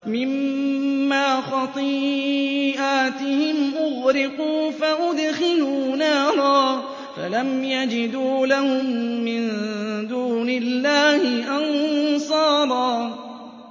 مِّمَّا خَطِيئَاتِهِمْ أُغْرِقُوا فَأُدْخِلُوا نَارًا فَلَمْ يَجِدُوا لَهُم مِّن دُونِ اللَّهِ أَنصَارًا